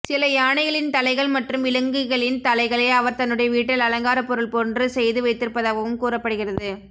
சில யானைகளின் தலைகள் மற்றும் விலங்களின் தலைகளை அவர் தன்னுடைய வீட்டில் அலங்கார பொருள் போன்று செய்து வைத்திருந்தாகவும் கூறப்படுகிறது